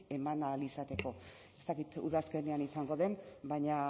eman ahal izateko ez dakit udazkenean izango den baina